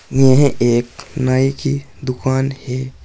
यह एक नाई की दुकान है।